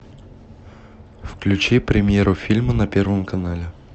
включи премьеру фильма на первом канале